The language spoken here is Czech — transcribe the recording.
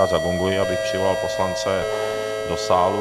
Já zagonguji, abych přivolal poslance do sálu.